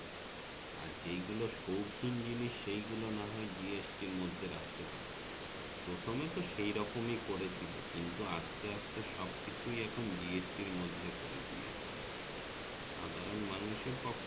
আর যেই গুলো সৌখিন জিনিসসেই গুলো না হয় GST এর মধ্যে রাখতে পারতো প্রথমে তো সেই রকমই করে ছিল কিন্তু আসতে আসতে সব কিছুই এখন GST মধ্যে করে দিয়েছে সাধারণ মানুষের পক্ষে